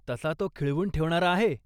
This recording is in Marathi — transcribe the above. तसा तो खिळवून ठेवणारा आहे.